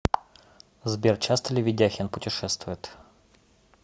сбер часто ли ведяхин путешествует